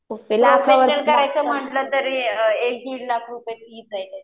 करायचं म्हंटलं तरी एक दीड लाख रुपये फीस आहे त्याची.